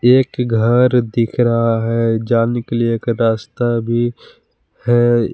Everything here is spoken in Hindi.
एक घर दिख रहा है जाने के लिए एक रास्ता भी है।